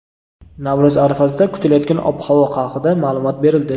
Navro‘z arafasida kutilayotgan ob-havo haqida ma’lumot berildi.